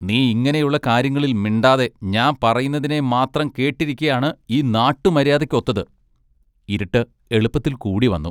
നീ ഇങ്ങിനെയുള്ള കാര്യങ്ങളിൽ മിണ്ടാതെ ഞാൻ പറയുന്നതിനെ മാത്രം കേട്ടിരിക്കയാണ് ഈ നാട്ടു മര്യാദയ്ക്ക് ഒത്തത് ഇരുട്ട് എളുപ്പത്തിൽ കൂടി വന്നു.